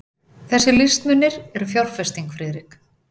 Þessir listmunir eru fjárfesting, Friðrik.